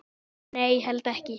Nei, held ekki.